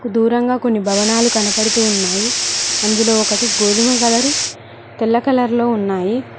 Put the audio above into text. దూరంగా కొన్ని భవనాలు కనపడుతు ఉన్నాయి అందులో ఒకటి గోధుమ కలరు తెల్ల కలర్లో ఉన్నాయి.